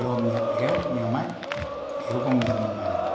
Eu, minha, eu, minha mãe, eu com meu irmão mais novo.